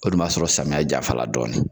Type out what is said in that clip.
O dun b'a sɔrɔ samiyɛ jaɲfa la dɔɔnin.